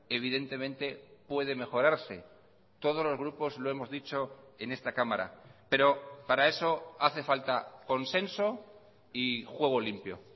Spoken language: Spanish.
evidentemente puede mejorarse todos los grupos lo hemos dicho en esta cámara pero para eso hace falta consenso y juego limpio